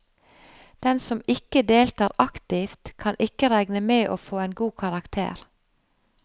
Den som ikke deltar aktivt, kan ikke regne med å få en god karakter.